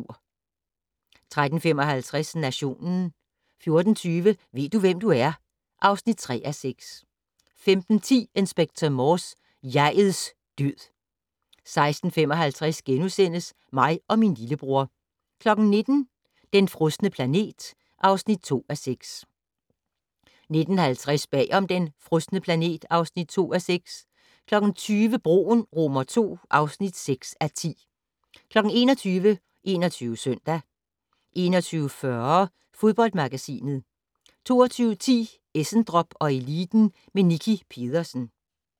13:55: Nationen 14:20: Ved du, hvem du er? (3:6) 15:10: Inspector Morse: Jeg'ets død 16:55: Mig og min lillebror * 19:00: Den frosne planet (2:6) 19:50: Bag om "Den frosne planet" (2:6) 20:00: Broen II (6:10) 21:00: 21 Søndag 21:40: Fodboldmagasinet 22:10: Essendrop & Eliten med Nicki Pedersen